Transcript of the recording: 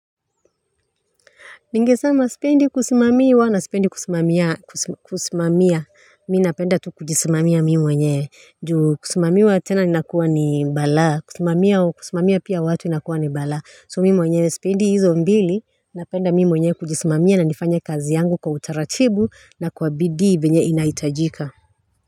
Ningesama sipendi kusimamiwa na sipendi kusimamiana kusimamia mi napenda tu kujisimamia mi mwenyewe juu kusimamiwa tena inakuwa ni balaa kusimamia pia watu inakuwa ni balaa so mi mwenyewe sipendi hizo mbili napenda mi mwenyewe kujisimamia na nifanye kazi yangu kwa utaratibu na kwa bidii vyenye inahitajika.